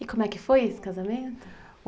E como é que foi esse casamento?